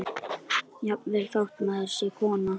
Jafnvel þótt maður sé kona.